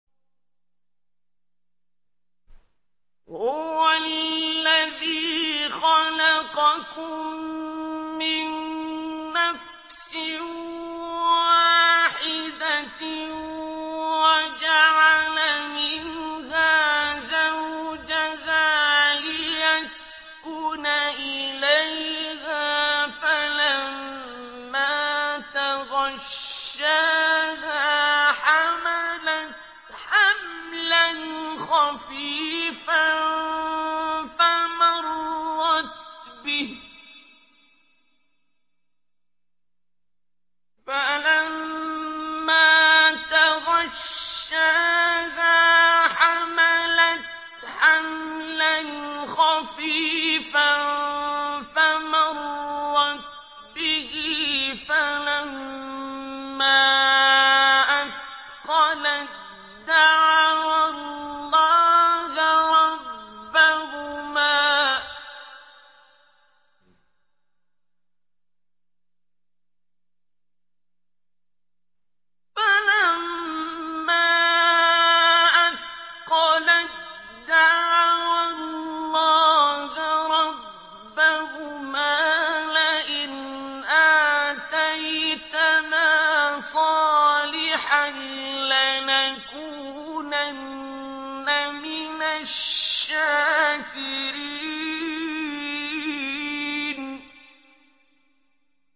۞ هُوَ الَّذِي خَلَقَكُم مِّن نَّفْسٍ وَاحِدَةٍ وَجَعَلَ مِنْهَا زَوْجَهَا لِيَسْكُنَ إِلَيْهَا ۖ فَلَمَّا تَغَشَّاهَا حَمَلَتْ حَمْلًا خَفِيفًا فَمَرَّتْ بِهِ ۖ فَلَمَّا أَثْقَلَت دَّعَوَا اللَّهَ رَبَّهُمَا لَئِنْ آتَيْتَنَا صَالِحًا لَّنَكُونَنَّ مِنَ الشَّاكِرِينَ